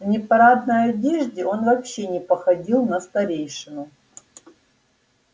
в непарадной одежде он вообще не походил на старейшину